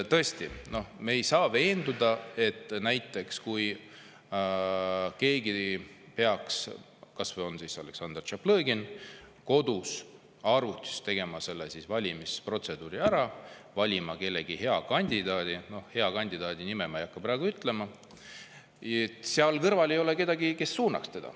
Tõesti, me ei saa veenduda, et kui keegi peaks, kas või Aleksandr Tšaplõgin, kodus arvutis tegema selle valimisprotseduuri ära, valima mõne hea kandidaadi – hea kandidaadi nime ma ei hakka praegu ütlema –, siis seal kõrval ei ole kedagi, kes teda suunaks.